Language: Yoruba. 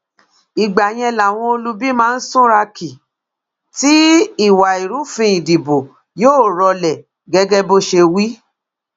ìgbà yẹn làwọn olubi máa súnra kí tí ìwà ìrúfin ìdìbò yóò rọlẹ gẹgẹ bó ṣe wí